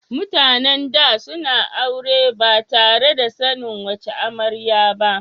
MutAnan da suna aure batare da sanin wace amaryar ba